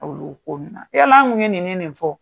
Olu ko in na yala an tun ye nin ni nin fɔ wo.